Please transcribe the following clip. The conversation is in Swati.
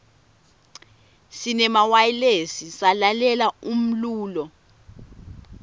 sinemawayilesi salalela umlulo